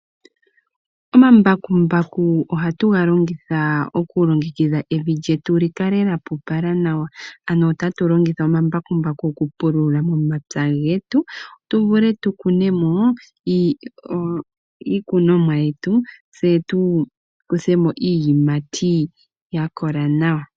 Omambakumbaku ohatu ga longitha oku longekidha evi lyetu, lyi kale lya pupala nawa. Ano otatu longitha omambakumbaku oku pulula momapya getu tu vule tu kune mo iikunomwa yetu, tse tu kuthe mo iiyimati ya kola nawa.